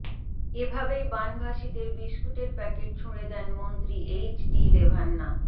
এভাবেই বানভাসিদের বিস্কুটের প্যাকেট ছুড়ে দেন মন্ত্রী এইচ ডি রেভান্না